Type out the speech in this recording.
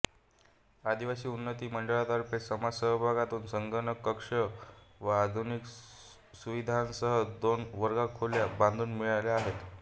आदिवासी उन्नती मंडळातर्फे समाज सहभागातून संगणक कक्ष व आधुनिक सुविधांसह दोन वर्गखोल्या बांधून मिळाल्या आहेत